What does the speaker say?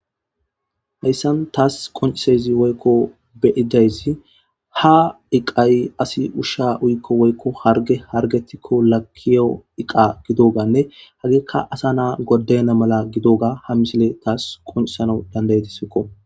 Hayssan tas qonccidayssi woykko be7idayssi ha iqqoy asi ushsha uyikko woykko hargge harggetikko makkiyo iqqa gidogabanne hagekka asa na7a godayenna mala harggidoga ha misile tas qonccisanaw danda7ideeskko.